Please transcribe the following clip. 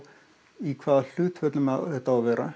í hvaða hlutföllum þetta á að vera